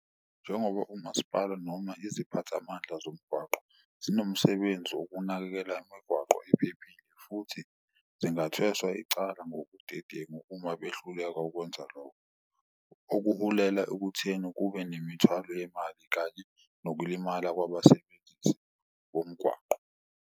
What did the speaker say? Njengoba umaspala noma iziphatha amandla zomgwaqo zinomsebenzi wokunakekela imigwaqo ephephile futhi zingathengwa icala ngobudedengu uma behluleka ukwenza lokho. Okuhulela ekutheni kube nemithwalo yemali kanye nokulimala kwabasebenzisi bomgwaqo.